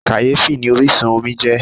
Kàyéfì ni orísun omi jẹ́.